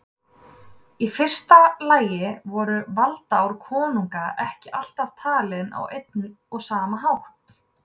Í fyrsta lagi voru valdaár konunga ekki alltaf talin á einn og sama hátt.